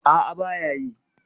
A'a ba ya yi.